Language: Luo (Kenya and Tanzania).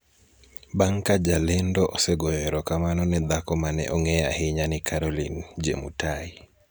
bang' ka jalendo osegoyo erokamano ne dhako mane ong'eyo ahinya ni Caroline Jemutai.